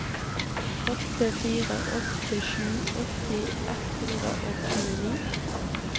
åtte fire åtte sju åtti ett hundre og tjueni